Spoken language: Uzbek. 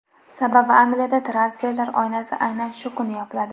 Sababi Angliyada transferlar oynasi aynan shu kuni yopiladi.